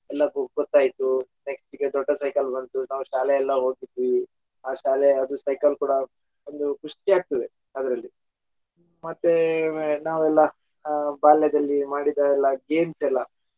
next ಗೆ ದೊಡ್ಡ cycle ಬಂತು ನಾವ ಶಾಲೆಯೆಲ್ಲ ಹೋಗಿದ್ವಿ ಆ ಶಾಲೆ ಅದು ಸೈಕಲ್ ಕೂಡಾ ಒಂದು ಖುಷಿ ಆಗ್ತದೆ ಅದರಲ್ಲಿ ಮತ್ತೆ ನಾವೆಲ್ಲ ಆಹ್ ಬಾಲ್ಯದಲ್ಲಿ ಮಾಡಿದ ಎಲ್ಲ games ಎಲ್ಲಾ.